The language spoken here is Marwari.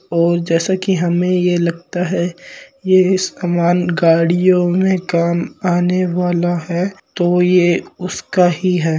और जैसा की हमे ये लगता है ये सामान गाड़ियों में काम आने वाला है तो ये उसका ही है।